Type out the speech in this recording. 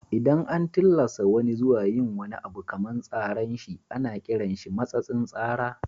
Idan an tillasa wani zuwa yin abu kaman tsaran shi ana kiran shi matsatsin tsara.